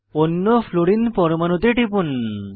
অন্য ফ্লুরিন পরমাণুতে টিপুন